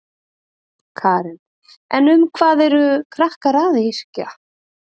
Karen: En um hvað eru krakkar að yrkja?